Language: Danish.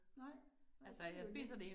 Nej, ja, det jo nemt